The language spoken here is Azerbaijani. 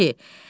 A kişi.